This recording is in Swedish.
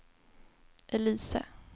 Elise